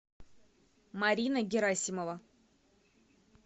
марина герасимова